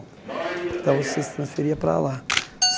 Então, você se transferia para lá.